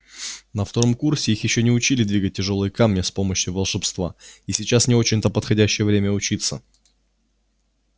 на втором курсе их ещё не учили двигать тяжёлые камни с помощью волшебства и сейчас не очень-то подходящее время учиться